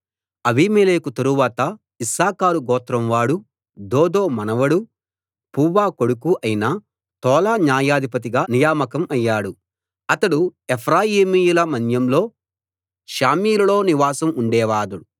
అబీమెలెకు తరువాత ఇశ్శాఖారు గోత్రంవాడు దోదో మనువడు పువ్వా కొడుకు అయిన తోలా న్యాయాధిపతిగా నియామకం అయ్యాడు అతడు ఎఫ్రాయిమీయుల మన్యంలో షామీరులో నివాసం ఉండేవాడు